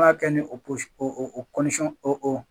An b'a kɛ ni o o o.